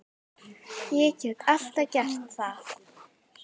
Ég get alltaf gert það.